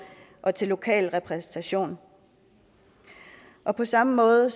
og til lokal repræsentation og på samme måde